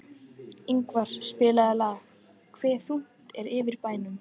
Ingvar, spilaðu lagið „Hve þungt er yfir bænum“.